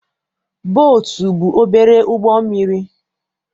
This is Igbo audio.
Bootu bụ obere ụgbọ mmiri.